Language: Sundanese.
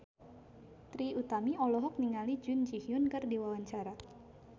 Trie Utami olohok ningali Jun Ji Hyun keur diwawancara